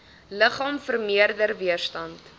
liggaam vermeerder weerstand